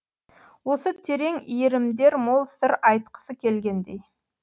осы терең иірімдер мол сыр айтқысы келгендей